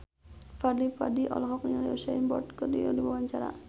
Fadly Padi olohok ningali Usain Bolt keur diwawancara